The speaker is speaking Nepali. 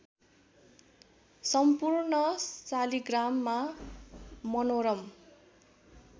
सम्पूर्ण शालिग्राममा मनोरम